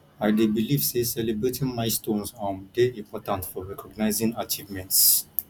i dey believe say celebrating milestones um dey important for recognizing achievements